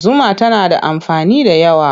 Zuma tana da amfani da yawa.